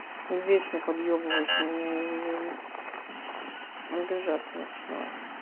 вечно подъебываешь меня я уже обижаться начинаю